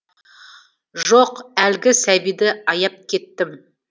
жоқ әлгі сәбиді аяп кеттім